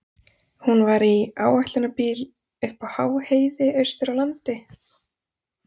Hún var í áætlunarbíl uppi á háheiði austur á landi.